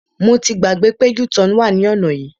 Mo ti gbàgbé pé u-turn wà ní ọ̀nà yìí.